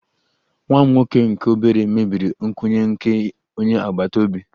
Nwa m nwoke nke obere mebiri nkwụnye nke onye agbata obi